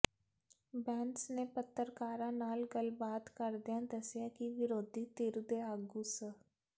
ਬੈਂਸ ਨੇ ਪੱਤਰਕਾਰਾਂ ਨਾਲ ਗੱਲਬਾਤ ਕਰਦਿਆਂ ਦੱਸਿਆ ਕਿ ਵਿਰੋਧੀ ਧਿਰ ਦੇ ਆਗੂ ਸ